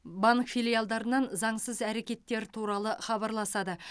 банк филиалдарынан заңсыз әрекеттер туралы хабарласады